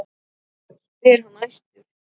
spyr hann æstur.